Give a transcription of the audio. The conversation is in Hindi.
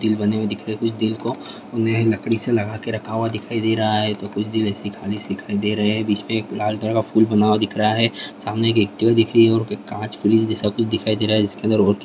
दिल बने हुए दिख रहे है कुछ दिल को उन्हें लकड़ी से लगा के रखा हुआ दिखाई दे रहा है तो कुछ दिल ऐसे खाली से दिखाई दे रहे है बीच में एक लाल कलर का फूल बना हुआ दिख रहा है सामने एक एक्टिवा दिख रही है और कांच पुलिस जैसा कुछ दिखाई दे रहा है जिसके अंदर और --